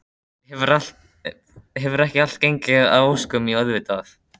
Hefur ekki allt gengið að óskum, jú auðvitað.